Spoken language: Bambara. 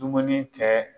Dumuni kɛ